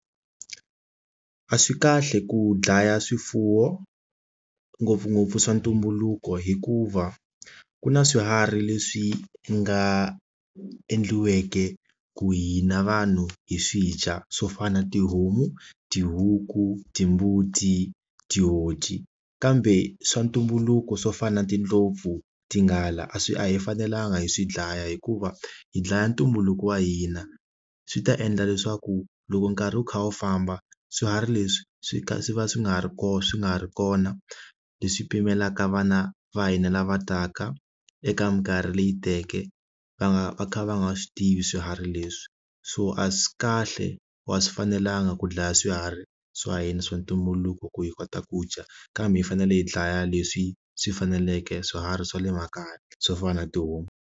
A swi kahle ku dlaya swifuwo ngopfungopfu swa ntumbuluko hikuva ku na swiharhi leswi nga endliweke ku hina vanhu hi swidya swo fana na tihomu, tihuku, timbuti, tihoci kambe swa ntumbuluko swo fana na tindlopfu tinghala a swi a hi fanelanga hi swi dlaya hikuva hi dlaya ntumbuluko wa hina swi ta endla leswaku loko nkarhi wu kha wu famba swiharhi leswi swi kha swi va swi nga ha ri kona swi nga ha ri kona leswi pfumelaka vana va hina lava taka eka minkarhi leyi teke va nga va kha va nga swi tivi swiharhi leswi so a swi kahle wa swi fanelanga ku dlaya swiharhi swa hina swa ntumbuluko ku hi kota ku dya kambe hi fanele hi dlaya leswi swi faneleke swiharhi swa le makaya swo fana na tihomu.